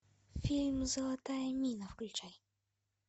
фильм золотая мина включай